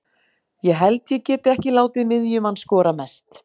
Ég held ég geti ekki látið miðjumann skora mest.